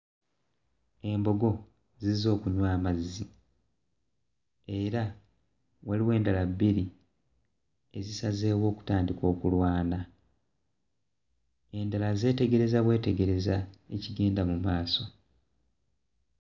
Embogo zizze okunywa amazzi era waliwo endala bbiri ezisazeewo okutandika okulwana, endala zeetegereza bwetegereza ekigenda mu maaso.